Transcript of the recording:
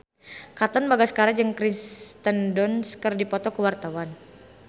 Katon Bagaskara jeung Kirsten Dunst keur dipoto ku wartawan